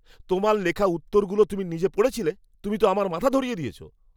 তোমার লেখা উত্তরগুলো তুমি নিজে পড়েছিলে? তুমি তো আমার মাথা ধরিয়ে দিয়েছো।